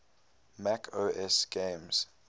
mac os games